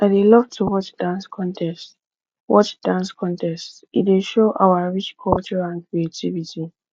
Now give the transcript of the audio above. i dey love to watch dance contests watch dance contests e dey show our rich culture and creativity